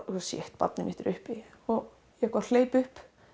barnið mitt er uppi og ég hleyp upp